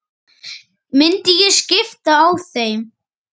Myndi ég skipta á þeim?